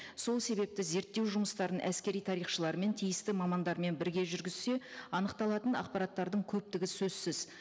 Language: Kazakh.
сол себепті зерттеу жұмыстарын әскери тарихшылармен тиісті мамандармен бірге жүргізсе анықталатын ақпараттардың көптігі сөзсіз